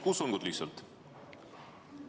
Palun lihtsalt kutsungit.